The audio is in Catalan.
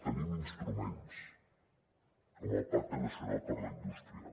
tenim instruments com el pacte nacional per a la indústria